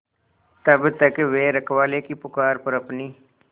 तब तक वे रखवाले की पुकार पर अपनी